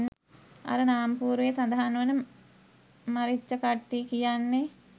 අර නාමපුවරුවේ සදහන් වන මරිච්චකට්ටි කියන්නේ